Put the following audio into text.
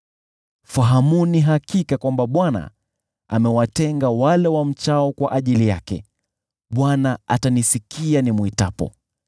Fahamuni hakika kwamba Bwana amewatenga wale wamchao kwa ajili yake; Bwana atanisikia nimwitapo.